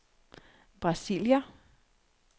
Brasilia